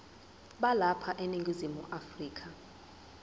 balapha eningizimu afrika